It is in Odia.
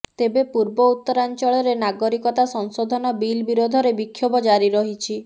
ତେବେ ପୂର୍ବଉତ୍ତରାଂଚଳରେ ନାଗରିକତା ସଂଶୋଧନ ବିଲ ବିରୋଧରେ ବିକ୍ଷୋଭ ଜାରି ରହିଛି